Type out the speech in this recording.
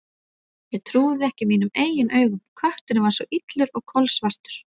Ég trúði ekki mínum eigin augum: kötturinn var svo illur og kolsvartur.